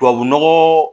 Tubabu nɔgɔ